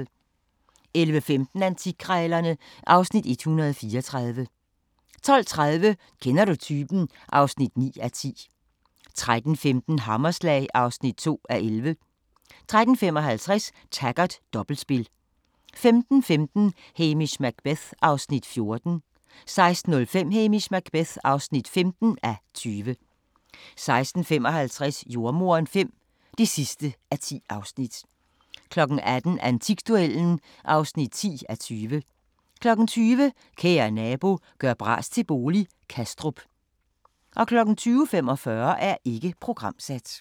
11:15: Antikkrejlerne (Afs. 134) 12:30: Kender du typen? (9:10) 13:15: Hammerslag (2:11) 13:55: Taggart: Dobbeltspil 15:15: Hamish Macbeth (14:20) 16:05: Hamish Macbeth (15:20) 16:55: Jordemoderen V (10:10) 18:00: Antikduellen (10:20) 20:00: Kære nabo – gør bras til bolig – Kastrup 20:45: Ikke programsat